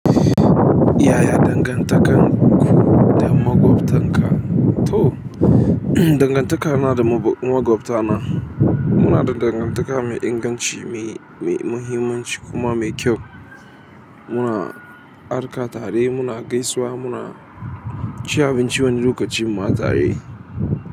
Yaya dangantakarku da maƙwabtan ka? To dagantaka na da maƙwabtana inada dangantaka mai inganci me inganci kuma me kyau. Muna arka tare, muna gaisawa, muna ci abinci wani lokacin ma tare.